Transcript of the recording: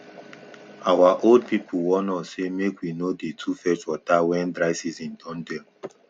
our old people warn us say make we no dey too fetch water when dry season don dey